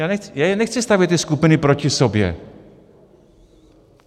Já nechci stavět ty skupiny proti sobě.